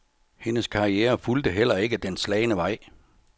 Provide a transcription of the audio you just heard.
Hendes karriere fulgte heller ikke den slagne vej.